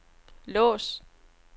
lås